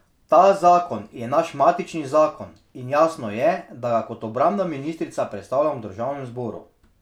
Ta zakon je naš matični zakon in jasno je, da ga kot obrambna ministrica predstavljam v državnem zboru.